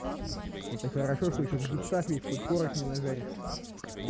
это хорошо что ещё в гипсах весь хоть корок не нажаришь